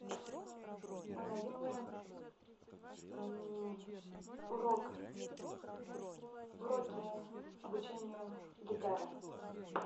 ой найди мне урок уроки обучению гитары